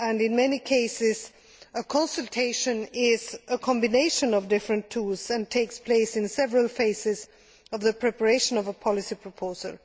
In many cases, a consultation is a combination of different tools and takes place in several phases of the preparation of a policy proposal.